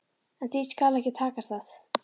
En því skal ekki takast það.